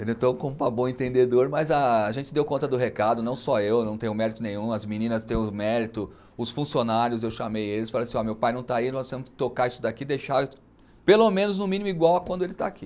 Ele entrou com um para bom entendedor, mas a gente deu conta do recado, não só eu, não tenho mérito nenhum, as meninas têm o mérito, os funcionários, eu chamei eles, falei assim ó, meu pai não está aí, nós temos que tocar isso daqui, deixar pelo menos, no mínimo, igual a quando ele está aqui.